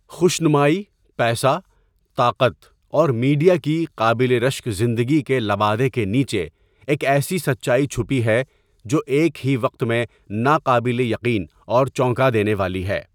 خوش نمائی، پیسہ، طاقت اور میڈیا کی قابل رشک زندگی کے لبادے کے نیچے ایک ایسی سچائی چھپی ہے جو ایک ہی وقت میں ناقابل یقین اور چونکا دینے والی ہے۔